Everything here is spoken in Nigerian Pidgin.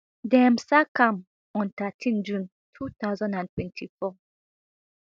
dem sack am on thirteen june two thousand and twenty-four